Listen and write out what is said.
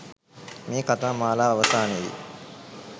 මේ කථා මාලාව අවසානයේ